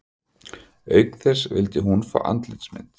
Auk þess vildi hún fá andlitsmynd